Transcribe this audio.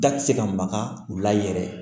Da tɛ se ka maga u la yɛrɛ